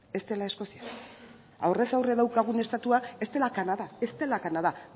ez dela eskozia aurrez aurre daukagun estatua ez dela kanada ez dela kanada